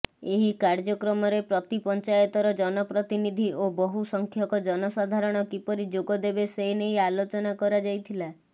ଏହି କାର୍ଯ୍ୟକ୍ରମରେ ପ୍ରତି ପଞ୍ଚାୟତର ଜନପ୍ରତିନିଧୀ ଓ ବହୁ ସଂଖ୍ୟକ ଜନସାଧାରଣ କିପରି ଯୋଗଦେବେ ସେନେଇ ଆଲୋଚନା କରାଯାଇଥିଲା